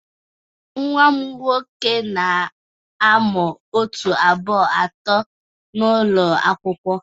Nwa m nwoke na-amụ otu, abụọ, atọ n'ụlọ akwụkwọ.